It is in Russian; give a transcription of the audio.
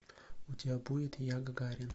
у тебя будет я гагарин